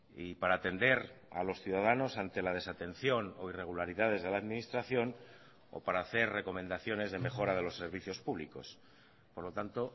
y para atender a los ciudadanos ante la desatención o irregularidades de la administración o para hacer recomendaciones de mejora de los servicios públicos por lo tanto